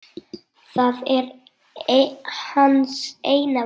Það er hans eina von.